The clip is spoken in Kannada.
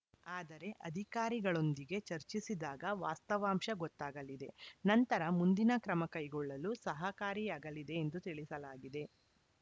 ಆದರೆ ಅಧಿಕಾರಿಗಳೊಂದಿಗೆ ಚರ್ಚಿಸಿದಾಗ ವಾಸ್ತವಾಂಶ ಗೊತ್ತಾಗಲಿದೆ ನಂತರ ಮುಂದಿನ ಕ್ರಮ ಕೈಗೊಳ್ಳಲು ಸಹಕಾರಿಯಾಗಲಿದೆ ಎಂದು ತಿಳಿಸಲಾಗಿದೆ